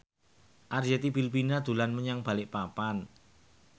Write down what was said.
Arzetti Bilbina dolan menyang Balikpapan